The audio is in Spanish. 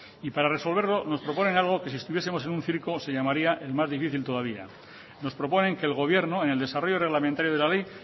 y para resolverlo nos proponen algo que si estuviesemos en un circo se llamaría el más difícil todavía nos proponen que el gobierno en el desarrollo reglamentario de la ley